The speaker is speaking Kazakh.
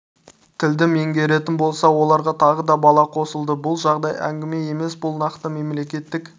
тілді меңгеретін болса оларға тағы да бала қосылды бұл жай әңгіме емес бұл нақты мемлекеттік